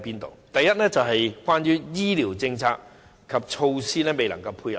第一，是醫療政策及措施未能配合。